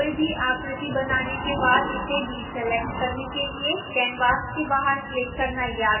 कोई भी आकृति बनाने के बाद उसे डीसेलेक्ट करने के लिए canvas के बाहर क्लिक करना याद रखें